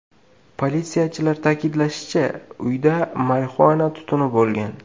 Politsiyachilar ta’kidlashicha, uyda marixuana tutuni bo‘lgan.